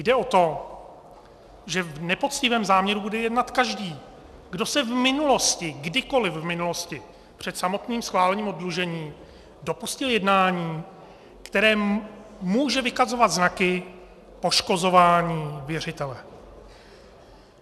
Jde o to, že v nepoctivém záměru bude jednat každý, kdo se v minulosti, kdykoliv v minulosti, před samotným schválením oddlužení dopustil jednání, které může vykazovat znaky poškozování věřitele.